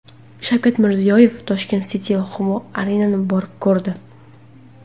Shavkat Mirziyoyev Tashkent City va Humo Arena’ni borib ko‘rdi.